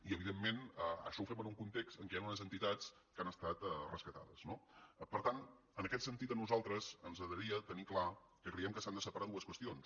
i evidentment això ho fem en un context en què hi han unes entitats que han estat rescatades no per tant en aquest sentit a nosaltres ens agradaria tenir clar que creiem que s’han de separar dues qüestions